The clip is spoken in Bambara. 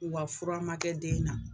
U ka fura ma kɛ den na